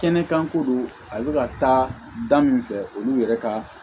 Kɛnɛ kan ko don a bɛ ka taa da min fɛ olu yɛrɛ ka